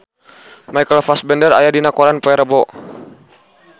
Michael Fassbender aya dina koran poe Rebo